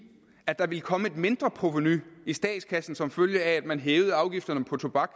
at der ville komme et mindre provenu i statskassen som følge af at man hævede afgifterne på tobak